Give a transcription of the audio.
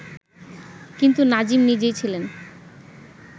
কিন্তু নাজিম নিজেই ছিলেন